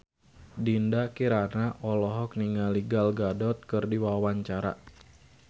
Dinda Kirana olohok ningali Gal Gadot keur diwawancara